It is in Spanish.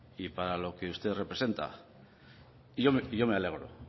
y para lo que usted representa y yo me alegro